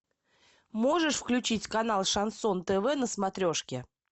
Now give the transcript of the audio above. можешь включить канал шансон тв на смотрешке